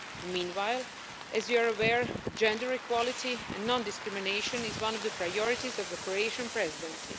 Meanwhile, as you are aware, gender equality and non discrimination is one of the priorities of the Croatian Presidency.